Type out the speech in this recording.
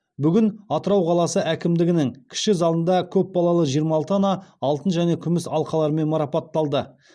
бүгін атырау қаласы әкімдігінің кіші залында көп балалы жиырма алты ана алтын және күміс алқаларымен марапатталды